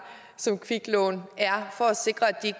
som kviklån er for at sikre at de